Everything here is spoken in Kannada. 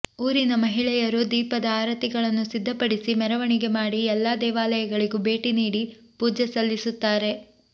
ಊರಿನ ಮಹಿಳೆಯರು ದೀಪದ ಆರತಿಗಳನ್ನು ಸಿದ್ಧಪಡಿಸಿ ಮೆರವಣಿಗೆ ಮಾಡಿ ಎಲ್ಲಾ ದೇವಾಲಯಗಳಿಗೂ ಭೇಟಿ ನೀಡಿ ಪೂ ಜೆ ಸಲ್ಲಿಸುತ್ತಾರೆ